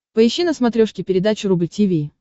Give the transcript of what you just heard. поищи на смотрешке передачу рубль ти ви